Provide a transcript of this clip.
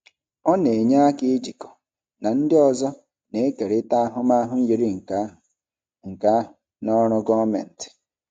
Ọ na-enyere aka ijikọ na ndị ọzọ na-ekerịta ahụmahụ yiri nke ahụ nke ahụ na ọrụ gọọmentị.